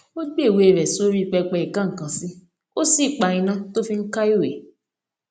ó gbé ìwé rè sí orí pẹpẹ ìkó nnkan sí ó sì pa iná tí ó fi ń ka ìwé